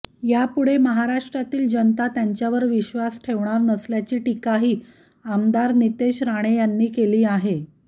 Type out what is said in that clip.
यापुढे महाराष्ट्रातील जनता त्यांच्यावर विश्वास ठेवणार नसल्याची टीकाही आमदार नितेश राणे यांनी केली आहे